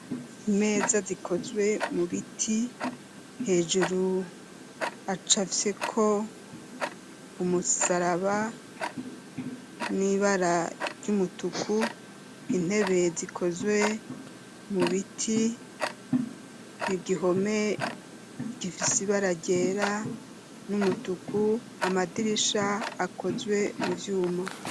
Imeza zikozwe mu biti hejuru acafyeko umusaraba n'ibara ry'umutuku intebe zikozwe mu biti i gihome gifise ibara ryera numutuku amadirisha akozwe mu vyuma.